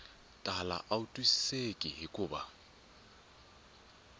tala a wu twisiseki hikuva